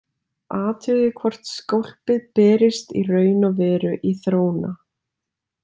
Athugið hvort skólpið berist í raun og veru í þróna.